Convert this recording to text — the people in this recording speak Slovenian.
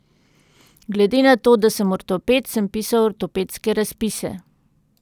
Glede na to, da sem ortoped, sem pisal ortopedske razpise.